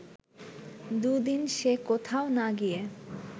দু’দিন সে কোথাও না গিয়ে